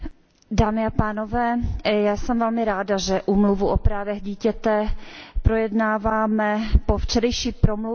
Já jsem velmi ráda, že Úmluvu o právech dítěte projednáváme po včerejší promluvě papeže Františka.